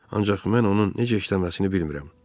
Ancaq mən onun necə işləməsini bilmirəm.